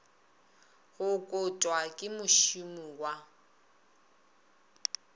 go kotwa ke mošomi wa